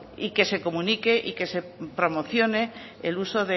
y que se comunique y que se promocione el uso